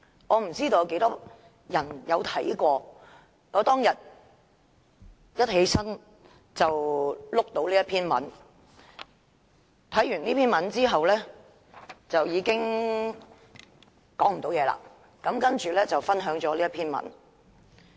我不知道有多少人閱讀了這篇文章，我當天起床，便看到這篇文章，看畢這篇文章，我已無法言語，接着分享了這篇文章。